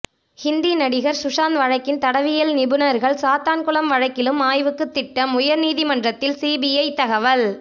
ஹிந்தி நடிகா் சுஷாந்த் வழக்கின் தடயவியல் நிபுணா்கள் சாத்தான்குளம் வழக்கிலும் ஆய்வுக்கு திட்டம் உயா் நீதிமன்றத்தில் சிபிஐ தகவல்